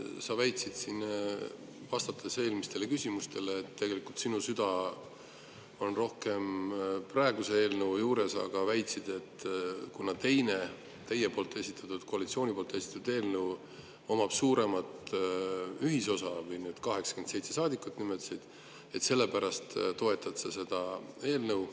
Sa väitsid siin, vastates eelmistele küsimustele, et sinu süda on rohkem praeguse eelnõu juures, aga väitsid ka, et kuna teise, teie ehk koalitsiooni esitatud eelnõu puhul on suurem ühisosa – 87 saadikut nimetasid –, siis selle pärast toetad sa seda eelnõu.